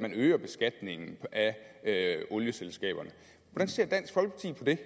man øger beskatningen af olieselskaberne hvordan ser dansk folkeparti på det